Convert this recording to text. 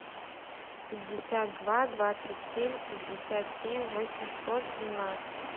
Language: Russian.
пятьдесят два двадцать семь пятьдесят семь восемьсот семнадцать